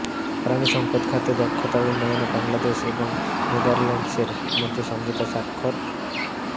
পানিসম্পদ খাতে দক্ষতা উন্নয়নে বাংলাদেশ এবং নেদারল্যান্ডসের মধ্যে সমঝোতা স্মারক স্বাক্ষর